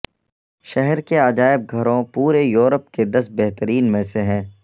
شہر کے عجائب گھروں پورے یورپ کے دس بہترین میں سے ہیں